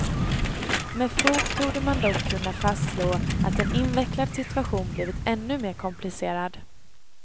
Med fog torde man dock kunna fastslå att en invecklad situation blivit ännu mer komplicerad.